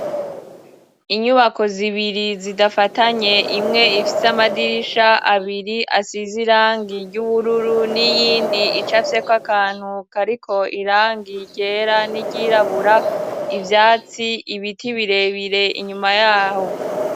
Inyubako zibiri zidafatanye imwe ifise amadirisha abiri asize irangi ry'ubururu n'iyindi icafyeko akantu kariko irangi ryera n'iryirabura ivyatsi ,ibiti birebire inyuma yaho.